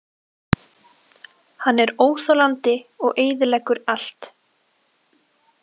Hann er óþolandi og eyðileggur allt.